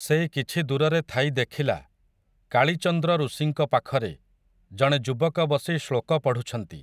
ସେ କିଛି ଦୂରରେ ଥାଇ ଦେଖିଲା, କାଳିଚନ୍ଦ୍ର ଋଷିଙ୍କ ପାଖରେ, ଜଣେ ଯୁବକ ବସି ଶ୍ଳୋକ ପଢ଼ୁଛନ୍ତି ।